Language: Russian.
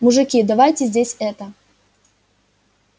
мужики давайте здесь это